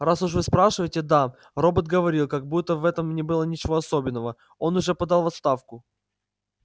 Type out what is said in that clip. раз уж вы спрашиваете да робот говорил как будто в этом не было ничего особенного он уже подал в отставку